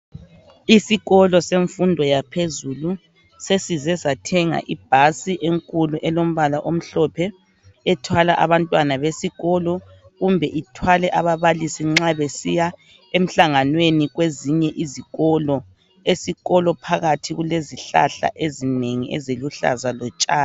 isikolo semfundo yaphezulu sesize sathenga ibhasi enkulu elombala omhlophe ethwala abantwana besikolo kumbe ithwale ababalisi nxa besiya emhlanganweni kwezinye izikolo phakathi kulezihlahla ezinengi eziluhlaza lotshani